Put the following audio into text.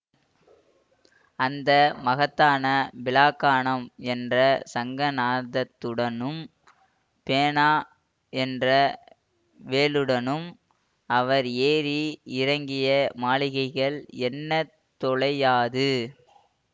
அந்த மகத்தான பிலாக்கணம் என்ற சங்கநாதத்துடனும் பேனா என்ற வேலுடனும் அவர் ஏறி இறங்கிய மாளிகைகள் எண்ணத் தொலையாது